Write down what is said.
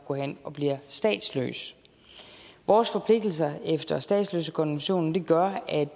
går hen og bliver statsløs vores forpligtelser efter statsløsekonventionen gør at